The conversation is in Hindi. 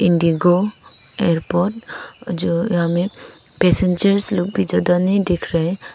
इंडिगो एयरपोर्ट जो हमें पैसेंजर्स लोग भी ज्यादा नहीं दिख रहे--